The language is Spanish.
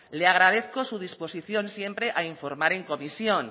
le agradezco su disposición siempre a informar en comisión